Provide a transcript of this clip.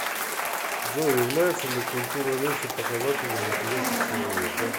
джой является ли культура речи показателем интеллекта человека